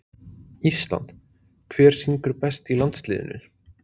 ÍSLAND Hver syngur best í landsliðinu?